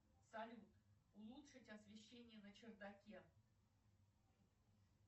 салют улучшить освещение на чердаке